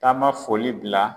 Taama foli bila